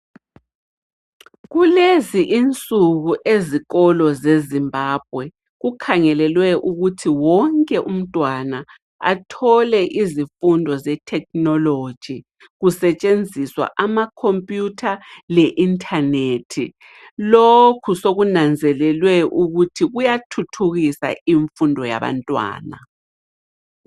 Kulezi insuku ezikolo zeZimbabwe kukhangelelwe ukuthi wonke umntwana athole izifundo zethekhinoloji kusetshenziswa amakhompiyutha le intanethi. Lokhu sokunanzelelwe ukuthi kuyathuthukisa imfundo yabantwana.